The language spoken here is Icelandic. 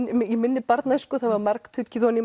í minni barnæsku þá var margtuggið